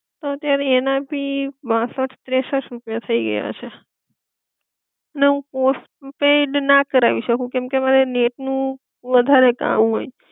તો અત્યારે એના ભી બાસઠ, ત્રેસઠ રૂપિયા થઈ ગયા છે, ને હું પોસ્ટપેડ ના કરાવી શકું કેમકે મારે નેટ નું વધારે હોય